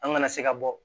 An kana se ka bɔ